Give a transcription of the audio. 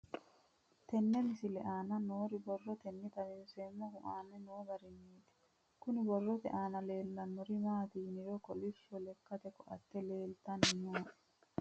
Tenne misile aana noore borroteni xawiseemohu aane noo gariniiti. Kunni borrote aana leelanori maati yiniro kollishsho lekate ko''atte leeltanni nooe.